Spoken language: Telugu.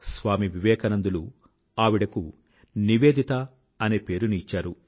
స్వామి వివేకానందులు ఆవిడకు నివేదిత అనే పేరుని ఇచ్చారు